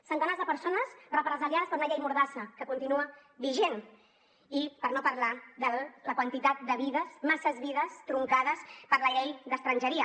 centenars de persones represaliades per una llei mordassa que continua vigent i per no parlar de la quantitat de vides massa vides truncades per la llei d’estrangeria